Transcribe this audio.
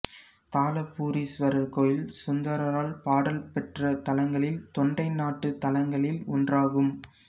தாளபுரீஸ்வரர் கோயில் சுந்தரரால் பாடல் பெற்ற தலங்களில் தொண்டை நாட்டுத் தலங்களில் ஒன்றாகும்